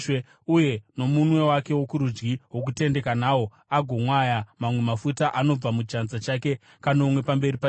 uye nomunwe wake wokurudyi wokutendeka nawo agomwaya mamwe mafuta anobva muchanza chake kanomwe pamberi paJehovha.